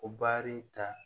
O baari ta